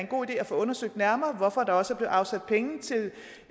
god idé at få undersøgt nærmere hvorfor der også afsat penge til